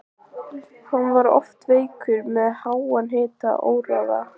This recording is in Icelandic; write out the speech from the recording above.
Hann var oft veikur með háan hita og óráði.